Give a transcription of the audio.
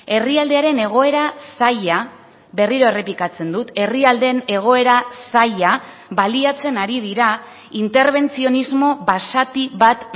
herrialdearen egoera zaila berriro errepikatzen dut herrialdeen egoera zaila baliatzen ari dira interbentzionismo basati bat